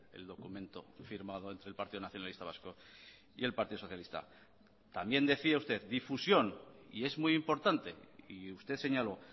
el documento firmado entre el partido nacionalista vasco y el partido socialista también decía usted difusión y es muy importante y usted señaló